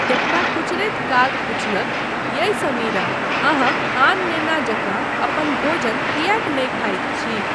एकटा कुचरैत काग पुछलक, यै समीरा, अहाँ आन नेना जकाँ अपन भोजन किएक नहि खाइत छी?